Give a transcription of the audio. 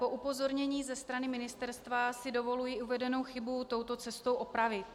Po upozornění ze strany ministerstva si dovoluji uvedenou chybu touto cestou opravit.